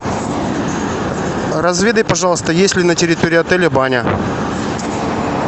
разведай пожалуйста есть ли на территории отеля баня